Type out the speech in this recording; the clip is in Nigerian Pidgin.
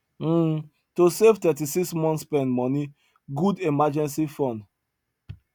um to save 36 months spend money good emergency fund